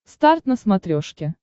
старт на смотрешке